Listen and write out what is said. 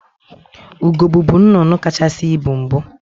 Ugo bubu nnnụnụ kacahasị ibu mbụ.